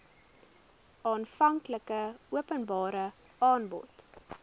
aanvanklike openbare aanbod